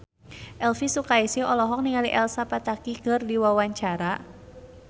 Elvi Sukaesih olohok ningali Elsa Pataky keur diwawancara